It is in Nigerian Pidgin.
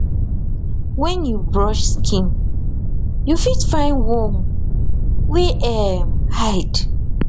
when you brush skin you fit find worm wer um hide